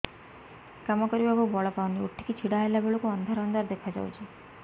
କାମ କରିବାକୁ ବଳ ପାଉନି ଉଠିକି ଛିଡା ହେଲା ବେଳକୁ ଅନ୍ଧାର ଅନ୍ଧାର ଦେଖା ଯାଉଛି